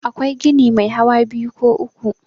akwai gini Mai hawa biyu ko uku